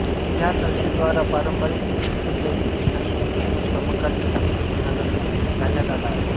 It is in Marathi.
ह्या संस्थेद्वारा पारंपरिक गुरुशिष्य शैलीतील संगीत शिक्षण व समकालीन संगीत शिक्षणाचा मेळ घालण्यात आला आहे